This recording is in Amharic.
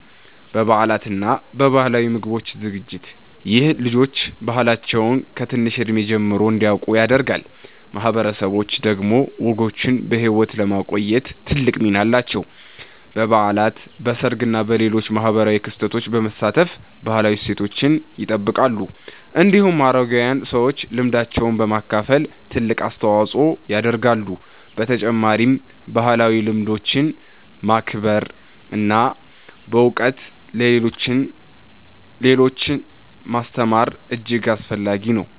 በበዓላት እና በባህላዊ ምግብ ዝግጅት። ይህ ልጆች ባህላቸውን ከትንሽ እድሜ ጀምሮ እንዲያውቁ ያደርጋል። ማህበረሰቦች ደግሞ ወጎችን በሕይወት ለማቆየት ትልቅ ሚና አላቸው። በበዓላት፣ በሰርግ እና በሌሎች ማህበራዊ ክስተቶች በመሳተፍ ባህላዊ እሴቶችን ይጠብቃሉ። እንዲሁም አረጋዊያን ሰዎች ልምዳቸውን በማካፈል ትልቅ አስተዋጽኦ ያደርጋሉ። በተጨማሪም ባህላዊ ልምዶችን ማክበር እና በእውቀት ለሌሎች ማስተማር እጅግ አስፈላጊ ነው።